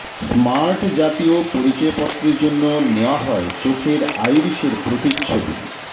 smart জাতীয় পরিচয়পত্রের জন্য নেওয়া হয় চোখের আইরিশের প্রতিচ্ছবি